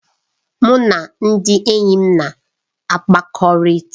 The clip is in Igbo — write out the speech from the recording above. Mụ na ndị enyi m na-akpakọrịta.